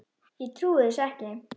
Ég trúi þessu ekki!